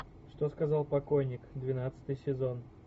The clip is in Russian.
что сказал покойник двенадцатый сезон